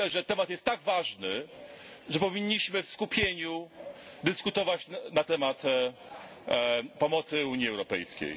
Myślę, że temat jest tak ważny, że powinniśmy w skupieniu dyskutować na temat pomocy Unii Europejskiej.